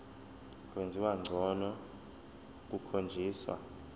kwenziwa ngcono kukhonjiswa